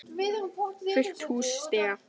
Fullt hús stiga.